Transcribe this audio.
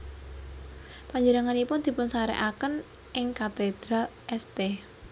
Panjenenganipun dipunsarèkaken ing Katedral St